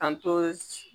K'an to